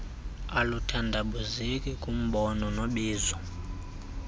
aluthandabuzeki kumbono nobizo